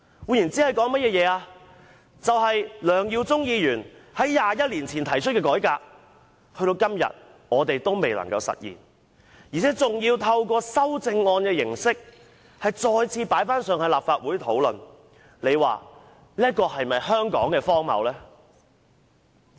換言之，梁耀忠議員在21年前提出的改革建議，時至今日仍未能實現，而要透過修正案的形式再次提交立法會討論，這是否香港荒謬之處？